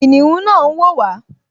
Kìnìún náà n wò wá